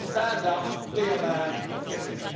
Stand up, be a man, admit it.